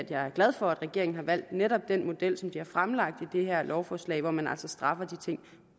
jeg glad for at regeringen har valgt netop den model som bliver fremlagt i det her lovforslag hvor man altså straffer de ting